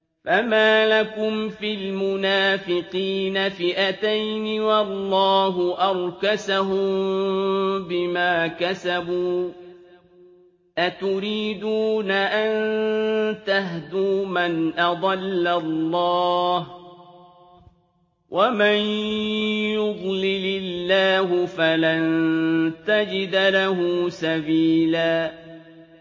۞ فَمَا لَكُمْ فِي الْمُنَافِقِينَ فِئَتَيْنِ وَاللَّهُ أَرْكَسَهُم بِمَا كَسَبُوا ۚ أَتُرِيدُونَ أَن تَهْدُوا مَنْ أَضَلَّ اللَّهُ ۖ وَمَن يُضْلِلِ اللَّهُ فَلَن تَجِدَ لَهُ سَبِيلًا